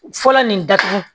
Fɔlɔ nin datugu